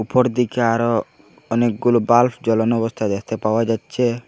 উপর দিকে আরো অনেকগুলো বাল্ব জ্বলানো অবস্থায় দেখতে পাওয়া যাচ্ছে।